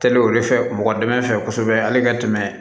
Teli o de fɛ mɔgɔ dɛmɛ fɛ kosɛbɛ hali ka tɛmɛ